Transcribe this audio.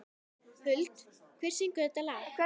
Huld, hver syngur þetta lag?